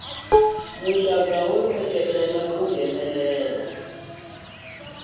muxaka wo seketela ku nghenelela